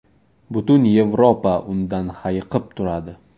Butun Yevropa undan hayiqib turadi.